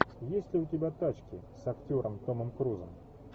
есть ли у тебя тачки с актером томом крузом